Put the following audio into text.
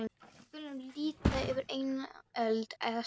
Við skulum líta yfir eina öld eða svo.